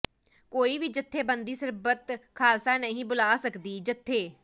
ਕੋਈ ਵੀ ਜਥੇਬੰਦੀ ਸਰਬੱਤ ਖ਼ਾਲਸਾ ਨਹੀਂ ਬੁਲਾ ਸਕਦੀ ਜਥੇ